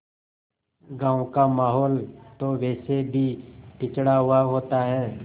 गाँव का माहौल तो वैसे भी पिछड़ा हुआ होता है